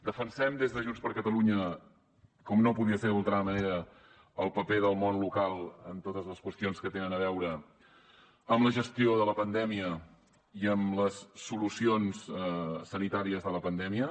defensem des de junts per catalunya com no podia ser d’altra manera el paper del món local en totes les qüestions que tenen a veure amb la gestió de la pandèmia i amb les solucions sanitàries de la pandèmia